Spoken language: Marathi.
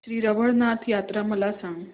श्री रवळनाथ यात्रा मला सांग